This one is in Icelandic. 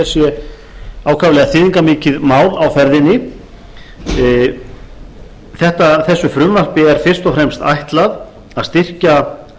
sé ákaflega þýðingarmikið mál á ferðinni þessu frumvarpi er fyrst og fremst ætlað að styrkja